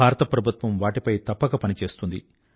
భారత ప్రభుత్వం వాటిపై తప్పక పనిచేస్తుంది